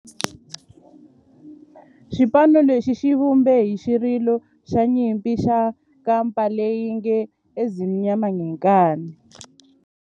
Xipano lexi xi vumbe xirilo xa nyimpi xa kampa lexi nge 'Ezimnyama Ngenkani'.